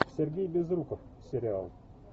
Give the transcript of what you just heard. сергей безруков сериал